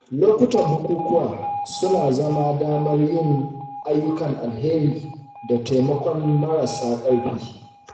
Lokutan bukukuwa suna zama damar yin ayyukan alheri da taimakon marasa ƙarfi.